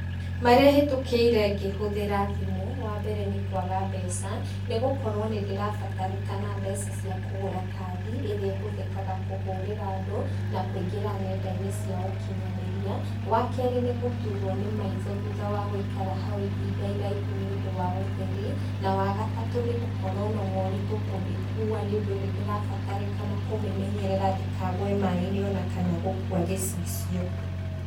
Marĩa hĩtũkĩire ngĩhũthĩra thimu, wa mbere, nĩ kũaga mbeca nĩ gũkorwo nĩ ndĩrabatarĩkana mbeca cia kũgũra kandi ĩrĩa ĩhũthĩkaga kũhũrĩra andũ, na kũingĩra nendainĩ cia ũkinyanĩrĩa. Wa kerĩ nĩ gũtuurwo nĩ maitho thutha wa gũikara hau ihinda iraihu nĩ ũndũ wa ũtheri, na wa gatatũ nĩ gũkorwo na maũritũ kũmĩkua nĩ ũndũ nĩ ndĩrabatarĩkana kũmĩmenyerera ndĩkagũe maaĩ-inĩ o na kana gũkũa gĩcicio.